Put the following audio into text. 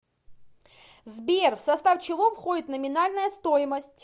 сбер в состав чего входит номинальная стоимость